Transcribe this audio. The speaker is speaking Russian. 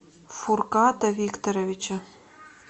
фурката викторовича